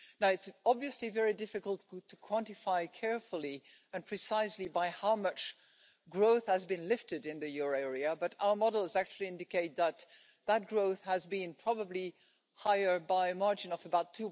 It's obviously very difficult to quantify carefully and precisely by how much growth has been lifted in the euro area, but our models actually indicate that that growth has been probably higher by a margin of about